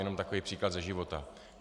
Jenom takový příklad ze života.